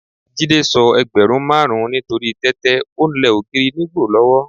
Jídé sọ ẹgbẹ̀rún márùn-ún nítorí tẹ́tẹ́, o ń lẹ ògiri nígbò lọ́wọ́.